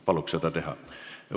Palun see esitada!